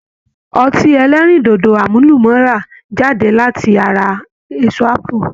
Ọtí ẹlẹ́rìndòdò àmúlùmálà jáde láti ara èso ápù